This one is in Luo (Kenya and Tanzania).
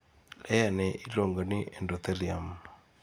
layerni iluongoni endothelium